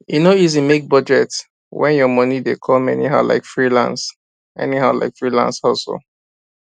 e no easy make budget when your money dey come anyhow like freelance anyhow like freelance hustle